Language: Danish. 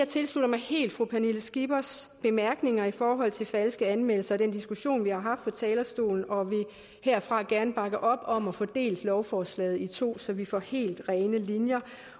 tilslutter mig fru pernille skippers bemærkninger i forhold til falske anmeldelser og den diskussion vi har haft fra talerstolen og vi vil herfra gerne bakke op om at få delt lovforslaget i to så vi får helt rene linjer